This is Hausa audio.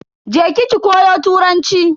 Je ki ki koyi Turanci.